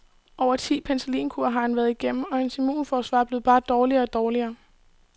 Over ti penicillinkure har han været igennem, og hans immumforsvar blev bare dårligere og dårligere.